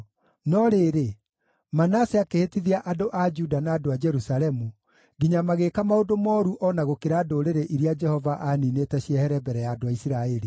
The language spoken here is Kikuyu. No rĩrĩ, Manase akĩhĩtithia andũ a Juda na andũ a Jerusalemu, nginya magĩĩka maũndũ mooru o na gũkĩra ndũrĩrĩ iria Jehova aaniinĩte ciehere mbere ya andũ a Isiraeli.